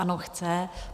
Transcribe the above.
Ano, chce.